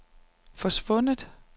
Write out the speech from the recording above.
forsvundet